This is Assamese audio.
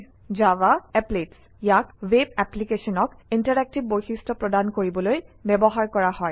Java Applets ইয়াক ৱেব এপ্লিকেশ্যনক ইণ্টেৰাকটিভ বৈশিষ্ট্য প্ৰদান কৰিবলৈ ব্যৱহাৰ কৰা হয়